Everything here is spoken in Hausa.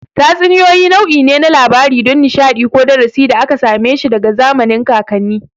Tatsuniyoyi nau'i ne na labarai don nishadi ko darasi da aka same shi daga zamanin kakanni